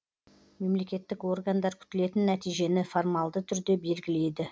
мемлекеттік органдар күтілетін нәтижені формалды түрде белгілейді